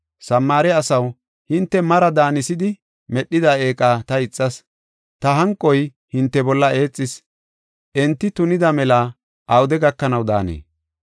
Samaare asaw, hinte mari daanisidi medhida eeqa ta ixas; ta hanqoy hinte bolla eexis. Enti tunida mela awude gakanaw daanee?